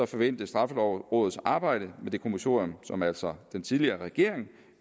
forventes straffelovrådets arbejde med det kommissorium som altså den tidligere regering